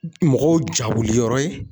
Mɔgɔw jawuliyɔrɔ ye